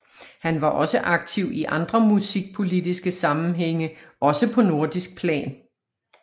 Han var også aktiv i andre musikpolitiske sammenhænge også på nordisk plan